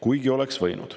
Ometi oleks see võimalik.